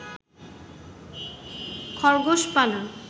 খরগোশ পালন